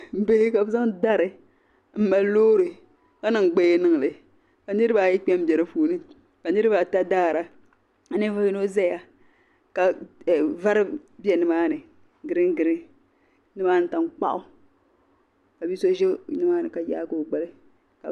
Bini ka bizaŋ bari m mali lɔɔri ka niŋ gbaya niŋli ka nirib ayi kpɛ m be di puuni ka niriba ata daara ka ninvuɣu yinɔ zaya ka vari be nimaani green green. nyɔmn tan kpaɣu labiso zɛ nimaani ka yaagi ɔ gbali